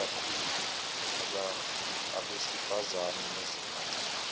ikakhulu abesifazane nezingane